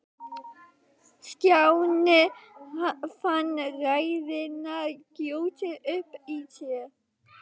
Stjáni fann reiðina gjósa upp í sér.